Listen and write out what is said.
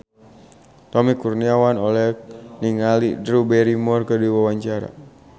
Tommy Kurniawan olohok ningali Drew Barrymore keur diwawancara